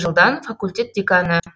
жылдан факультет деканы